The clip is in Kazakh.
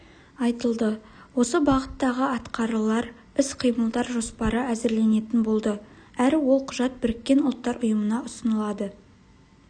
айтылды осы бағыттағы атқарылар іс-қимылдар жоспары әзірленетін болды әрі ол құжат біріккен ұлттар ұйымына ұсынылады